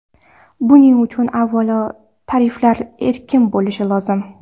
Buning uchun, avvalo, tariflar erkin bo‘lishi lozim.